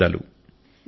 ధన్యవాదాలు